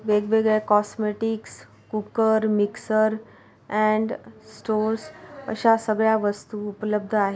वेगवेगळ्या cosmetics cooker mixer and stores अशा सगळ्या वस्तु उपलब्ध आहे.